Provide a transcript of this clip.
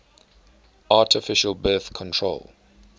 artificial birth control